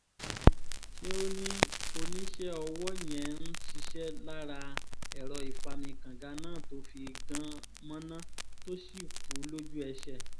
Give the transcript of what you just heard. ṣe ni oníṣẹ́ ọwọ́ yẹn ń ṣiṣẹ́ lára ẹ̀rọ ìfami kànga náà tó fi gan mọ̀nà tó sì kú lójú-ẹsẹ̀